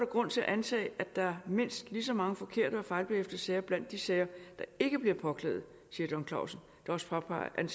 grund til at antage at der er mindst lige så mange forkerte og fejlbehæftede sager blandt de sager der ikke bliver påklaget siger john klausen der også påpeger at